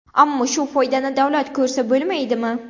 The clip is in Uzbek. Ammo shu foydani davlat ko‘rsa bo‘lmaydimi?